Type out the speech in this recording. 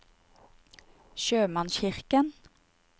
sjømannskirken